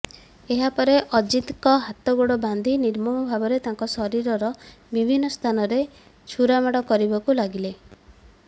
ଏହାପରେ ଅଜିତଙ୍କ ହାତଗୋଡ଼ ବାନ୍ଧି ନିର୍ମମ ଭାବେ ତାଙ୍କ ଶରୀରର ବିଭିନ୍ନ ସ୍ଥାନରେ ଛୁରାମାଡ଼ କରିବାକୁ ଲାଗିଲେ